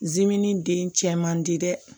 zmin den cɛ man di dɛ